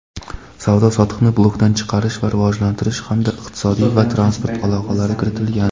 savdo-sotiqni blokdan chiqarish va rivojlantirish hamda iqtisodiy va transport aloqalari kiritilgan.